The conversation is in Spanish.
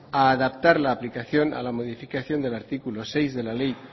a adaptar la aplicación a la modificación del artículo seis de la ley